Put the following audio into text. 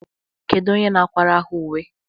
Kedu onye na-akwara ha uwe?